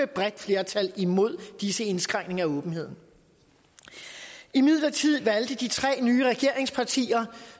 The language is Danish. bredt flertal imod disse indskrænkninger af åbenheden imidlertid valgte de tre nye regeringspartier